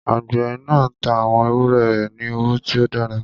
Àgbẹ̀ náà tá àwọn ewúrẹ́ rẹ̀ ní owó tí ó dára.